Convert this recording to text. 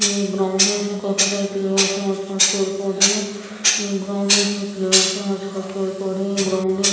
ये ग्राउंड है इसमें काफी सारे प्लेयर्स है आसपास पेड़ पौधे हैं ये ग्राउंड है इसमें प्लेयर्स है आसपास पौधे हैं ग्राउंड है ।